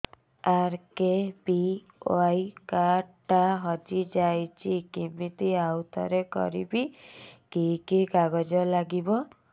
RKBY card ଟା ହଜିଯାଇଛି କିମିତି ଆଉଥରେ କରିବି କି କି କାଗଜ ଲାଗିବ